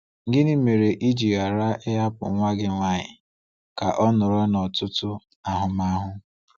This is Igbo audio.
Gịnị mere i ji ghara ịhapụ nwa gị nwaanyị ka o nọrọ n’ọtụtụ ahụmahụ?